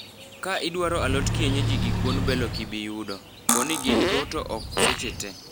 "Ka idwaro alot kienyeji gi kuon bel okibiyudo. Poni gin go to ok seche tee.